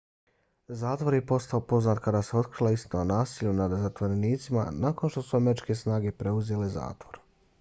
zatvor je postao poznat kada se otkrila istina o nasilju nad zatvorenicima nakon što su američke snage preuzele zatvor